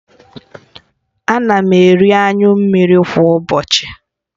Ana m eri anyụ mmiri kwa ụbọchị